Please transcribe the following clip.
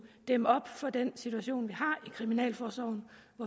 dæmme op for den situation som vi har i kriminalforsorgen